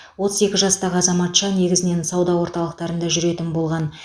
отыз екі жастағы азаматша негізінен сауда орталықтарында жүретін болған